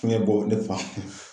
Fiɲɛbɔ ne fa